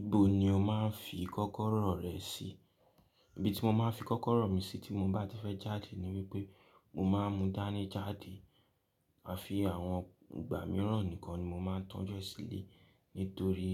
Ibo ni o máa ń fi kọ́kọ́rọ́ rẹ sí? Ibi tí mo máa ń fi kọ́kọ́rọ́ mi sí tí mo bá ti fẹ́ jáde ni wípé mo máa ń mu dání jáde. À fi àwọn ìgbà mìíràn nìkan ni mo máa ń tọ́ju e sílé. Nítorí